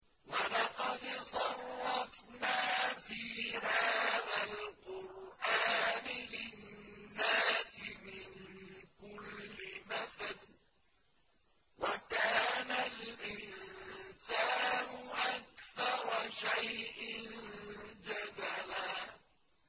وَلَقَدْ صَرَّفْنَا فِي هَٰذَا الْقُرْآنِ لِلنَّاسِ مِن كُلِّ مَثَلٍ ۚ وَكَانَ الْإِنسَانُ أَكْثَرَ شَيْءٍ جَدَلًا